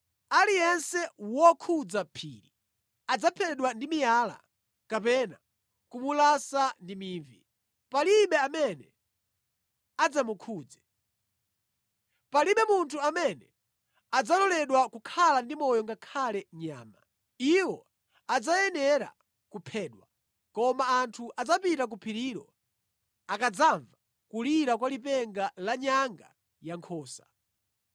Aliyense wokhudza phiri adzaphedwa ndi miyala kapena kumulasa ndi mivi. Palibe amene adzamukhudze. Palibe munthu amene adzaloledwa kukhala ndi moyo ngakhale nyama. Iwo adzayenera kuphedwa.’ Koma anthu adzapita ku phirilo akadzamva kulira kwa lipenga la nyanga yankhosa.”